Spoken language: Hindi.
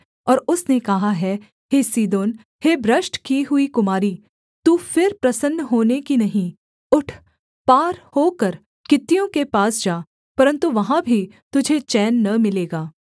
और उसने कहा है हे सीदोन हे भ्रष्ट की हुई कुमारी तू फिर प्रसन्न होने की नहीं उठ पार होकर कित्तियों के पास जा परन्तु वहाँ भी तुझे चैन न मिलेगा